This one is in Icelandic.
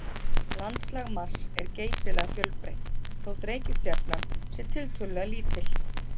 Landslag Mars er geysilega fjölbreytt þótt reikistjarnan sé tiltölulega lítil.